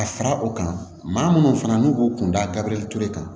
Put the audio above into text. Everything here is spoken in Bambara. Ka fara o kan maa munnu fana n'u k'u kun dabirili ture kan